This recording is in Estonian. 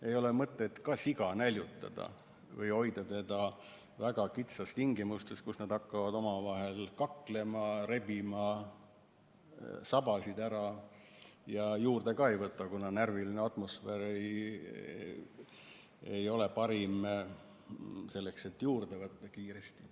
Ei ole mõtet ka siga näljutada või hoida teda väga kitsastes tingimustes, kus nad hakkavad omavahel kaklema, rebima sabasid ära ja juurde ka ei võta, kuna närviline atmosfäär ei ole parim, et kiiresti juurde võtta.